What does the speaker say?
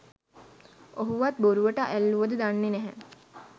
ඔහුවත් බොරුවට ඇල්ලුවද දන්නේ නැහැ.